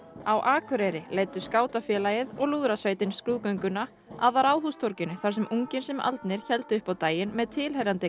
á Akureyri leiddu skátafélagið og lúðrasveitin skrúðgönguna að Ráðhústorginu þar sem ungir sem aldnir héldu upp á daginn með tilheyrandi